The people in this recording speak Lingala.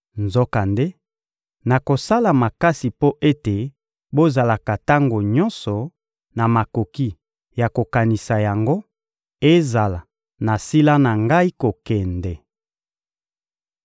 Nzokande, nakosala makasi mpo ete bozalaka tango nyonso na makoki ya kokanisaka yango, ezala nasila na ngai kokende.